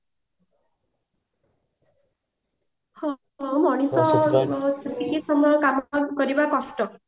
ହଁ ହଁ ମଣିଷ ଟିକେ ସମୟ କାମ କରିବା କଷ୍ଟ